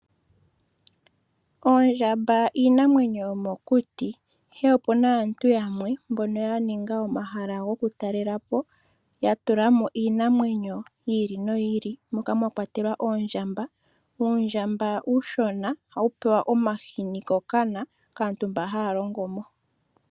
Oondjamba iinamwenyo yomokuti, ihe opuna aantu yamwe mbono ya ninga omahala goku talela po, ya tula mo iinamwenyo yi ili noyi ili moka mwa kwatelwa oondjamba. Uundjamba uushona ohawu pewa omahini kokana kaantu mba haya longo mo.